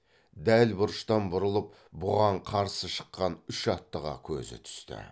дәл бұрыштан бұрылып бұған қарсы шыққан үш аттыға көзі түсті